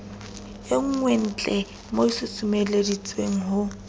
e nngweentlee mo susumeleditse ho